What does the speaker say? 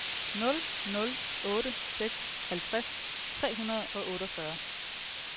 nul nul otte seks halvtreds tre hundrede og otteogfyrre